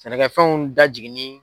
Sɛnɛkɛfɛnw dajiginni